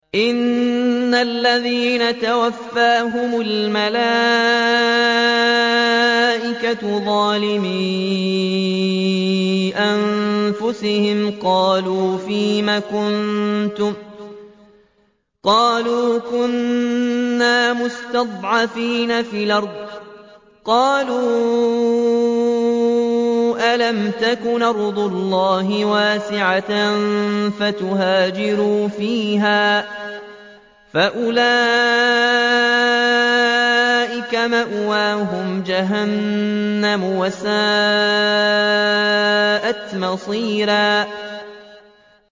إِنَّ الَّذِينَ تَوَفَّاهُمُ الْمَلَائِكَةُ ظَالِمِي أَنفُسِهِمْ قَالُوا فِيمَ كُنتُمْ ۖ قَالُوا كُنَّا مُسْتَضْعَفِينَ فِي الْأَرْضِ ۚ قَالُوا أَلَمْ تَكُنْ أَرْضُ اللَّهِ وَاسِعَةً فَتُهَاجِرُوا فِيهَا ۚ فَأُولَٰئِكَ مَأْوَاهُمْ جَهَنَّمُ ۖ وَسَاءَتْ مَصِيرًا